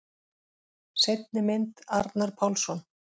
Seinni mynd: Arnar Pálsson.